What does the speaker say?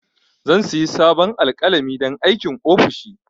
Zan sayi sabon alƙalami don aikin ofishi